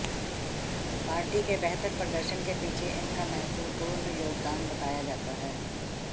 party के बेहतर प्रदर्शन के पीछे इनका महत्वपूर्ण योगदान बताया जाता है